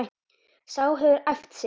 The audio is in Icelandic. Sá hefur æft sig!